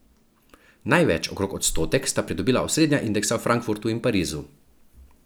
Največ, okrog odstotek, sta pridobila osrednja indeksa v Frankfurtu in Parizu.